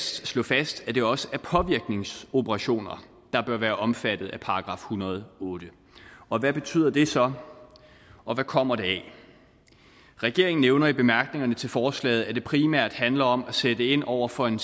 slå fast at det også er påvirkningsoperationer der bør være omfattet af § en hundrede og otte og hvad betyder det så og hvad kommer det af regeringen nævner i bemærkningerne til forslaget at det primært handler om at sætte ind over for en